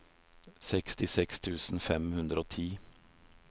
sekstiseks tusen fem hundre og ti